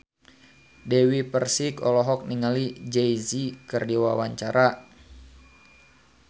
Dewi Persik olohok ningali Jay Z keur diwawancara